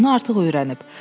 Bunu artıq öyrənib.